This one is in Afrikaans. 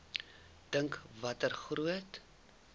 dink watter groot